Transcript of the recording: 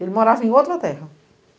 Ele morava em outra terra.